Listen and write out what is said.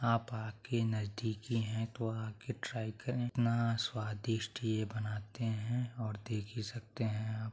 आप आके नजदीक ही है तो आके ट्राइ करें इतना स्वादिष्ट ये बनाते है और देख ही सकते है आप।